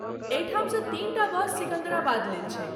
एहिठाम सँ तीनटा बस सिकन्दराबाद लेल छै।